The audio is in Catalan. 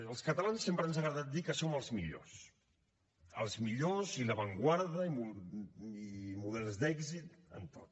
als catalans sempre ens ha agradat dir que som els millors els millors i l’avantguarda i models d’èxit en tot